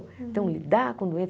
Então, lidar com doença.